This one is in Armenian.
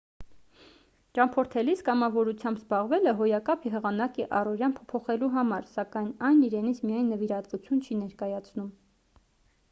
ճամփորդելիս կամավորությամբ զբաղվելը հոյակապ եղանակ է առօրյան փոփոխելու համար սական այն իրենից միայն նվիրատվություն չի ներկայացնում